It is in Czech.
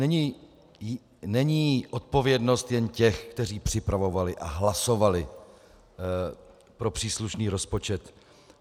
Není odpovědnost jen těch, kteří připravovali a hlasovali pro příslušný rozpočet.